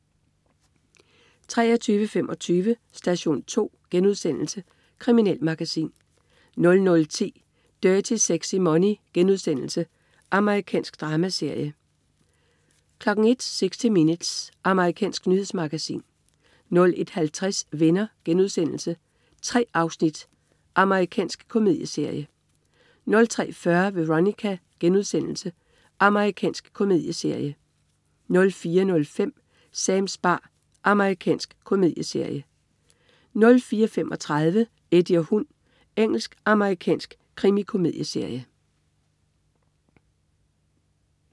23.25 Station 2*. Kriminalmagasin 00.10 Dirty Sexy Money.* Amerikansk dramaserie 01.00 60 Minutes. Amerikansk nyhedsmagasin 01.50 Venner.* 3 afsnit. Amerikansk komedieserie 03.40 Veronica.* Amerikansk komedieserie 04.05 Sams bar. Amerikansk komedieserie 04.35 Eddie og hund. Engelsk-amerikansk krimikomedieserie